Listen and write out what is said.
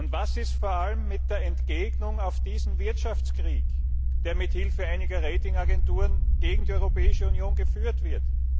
Und was ist vor allem mit der Entgegnung auf diesen Wirtschaftskrieg, der mithilfe einiger Ratingagenturen gegen die Europäische Union geführt wird?